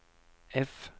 F